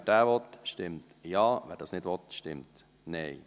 Wer diesen annehmen will, stimmt Ja, wer dies nicht will, stimmt Nein.